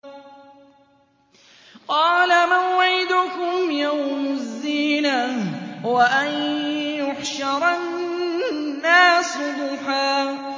قَالَ مَوْعِدُكُمْ يَوْمُ الزِّينَةِ وَأَن يُحْشَرَ النَّاسُ ضُحًى